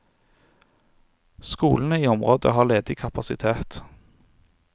Skolene i området har ledig kapasitet.